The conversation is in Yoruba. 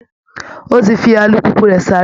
Ó ti fi alùpùpù rẹ̀ sáré